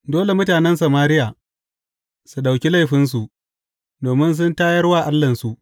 Dole mutanen Samariya su ɗauki laifinsu, domin sun tayar wa Allahnsu.